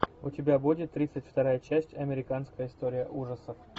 у тебя будет тридцать вторая часть американская история ужасов